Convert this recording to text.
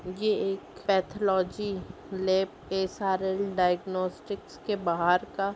ये एक pathology lab SRL. Diagnostics के बाहर का --